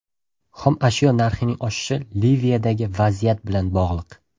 Xomashyo narxining oshishi Liviyadagi vaziyat bilan bog‘liq.